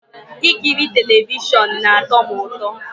Ikiri telivishọn na-atọ m ụtọ